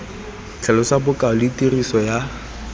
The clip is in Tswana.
tlhalosa bokao le tiriso ya